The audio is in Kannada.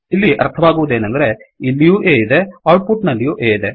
ಇಲ್ಲಿ ಅರ್ಥವಾಗುವದೇನೆಂದರೆ ಇಲ್ಲಿಯೂ A ಇದೆ ಔಟ್ ಪುಟ್ ನಲ್ಲಿಯೂ A ಇದೆ